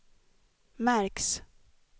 märks